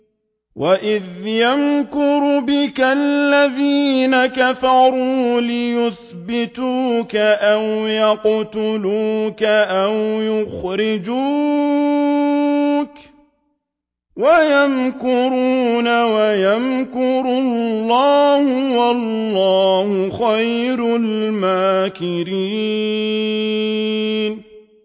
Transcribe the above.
وَإِذْ يَمْكُرُ بِكَ الَّذِينَ كَفَرُوا لِيُثْبِتُوكَ أَوْ يَقْتُلُوكَ أَوْ يُخْرِجُوكَ ۚ وَيَمْكُرُونَ وَيَمْكُرُ اللَّهُ ۖ وَاللَّهُ خَيْرُ الْمَاكِرِينَ